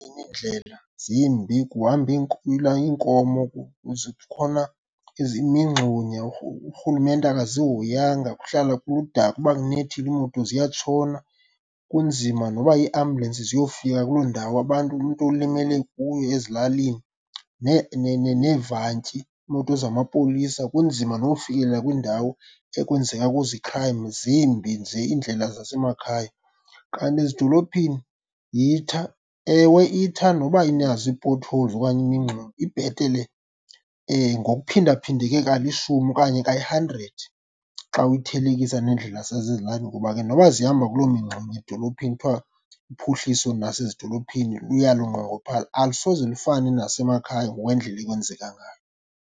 Iindlela zimbi kuhamba iinkomo zikhona imingxunya urhulumente akazihoyanga kuhlala kuludaka, uba kunethile iimoto ziyatshona, kunzima noba iiambulensi ziyofika kuloo ndawo abantu umntu ulimele kuyo ezilalini. Neevantyi, iimoto zamapolisa kunzima noyofikelela kwiindawo ekwenzeka kuzo i-crime, zimbi nje iindlela zasemakhaya, kanti ezidolophini yitha. Ewe itha noba inazo ii-potholes okanye imingxuma ibhetele ngokuphindaphindeke kalishumi okanye kayi-hundred xa uyithelekisa neendlela zasezilalin,i ngoba ke noba zihamba kuloo mingxuma edolophini, kuthiwa uphuhliso nasezidolophini luya lunqongophala alusoze lufane nasemakhaya ngokwendlela ekwenzeka ngayo.